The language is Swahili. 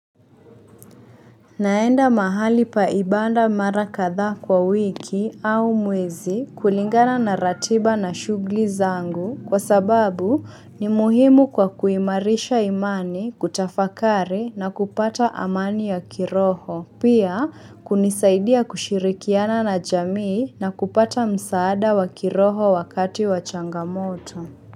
Naenda mahali pa ibanda mara kadhaa kwa wiki au mwezi kulingana na ratiba na shughli zangu kwa sababu ni muhimu kwa kuimarisha imani, kutafakari na kupata amani ya kiroho, pia kunisaidia kushirikiana na jamii na kupata msaada wa kiroho wakati wa changamoto.